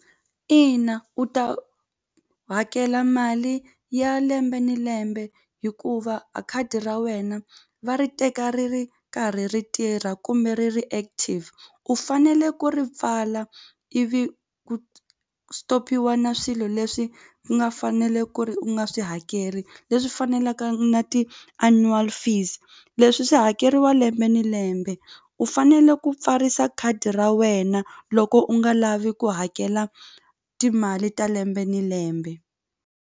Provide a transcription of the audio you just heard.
Ina u ta hakela mali ya lembe ni lembe hikuva a khadi ra wena va ri teka ri ri karhi ri tirha kumbe ri ri active u fanele ku ri pfala ivi ku stop-iwa na swilo leswi nga fanele ku ri u nga swi hakeri leswi fanelaka na ti-annual fees leswi swi hakeriwa lembe ni lembe u fanele ku pfarisa khadi ra wena loko u nga lavi ku hakela timali ta lembe ni lembe.